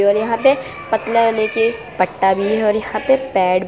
और यहां पे पतले होने की पट्टा भी है और यहां पे पेड --